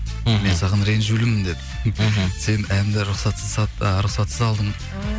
мен саған ренжулімін деді ммх сен әнді а рұқсатсыз алдың